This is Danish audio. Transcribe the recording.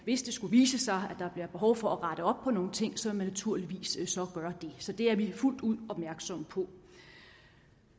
hvis det skulle vise sig at der bliver behov for at rette op på nogle ting så vil man naturligvis gøre det så det er vi fuldt ud opmærksomme på